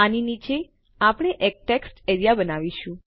આની નીચે આપણે એક ટેક્સ્ટ એરીયા બનાવીશું